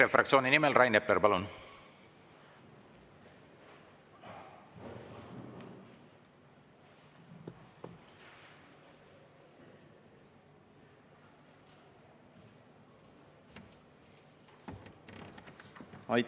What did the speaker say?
EKRE fraktsiooni nimel Rain Epler, palun!